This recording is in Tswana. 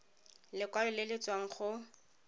lekwalo le le tswang go